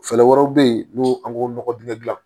Fɛɛrɛ wɛrɛw bɛ ye n'o an k'o nɔgɔ dingɛ gilan